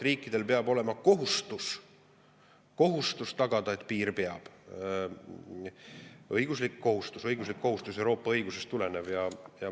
Riikidel peab olema kohustus tagada, et piir peab – õiguslik, Euroopa õigusest tulenev kohustus.